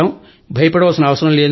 భయపడాల్సిన పనేలేదు